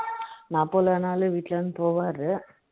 நான் போல நாளும் வீட்டில் இருந்து போவாரு